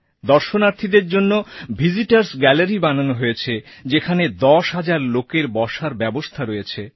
দর্শনার্থীদের জন্য visitorস্ গ্যালারি বানানো হয়েছে যেখানে দশ হাজার লোকের বসার ব্যবস্থা রয়েছে